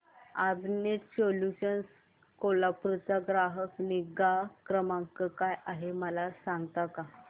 I net solutions Kolhapur चा ग्राहक निगा क्रमांक काय आहे मला सांगता का